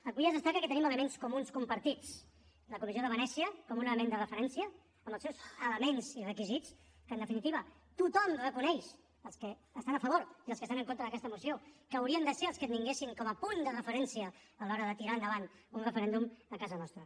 avui es destaca que tenim elements comuns compartits la comissió de venècia com un element de referència amb els seus elements i requisits que en definitiva tothom reconeix els que estan a favor i els que estan en contra d’aquesta moció que haurien de ser els que tinguéssim com a punt de referència a l’hora de tirar endavant un referèndum a casa nostra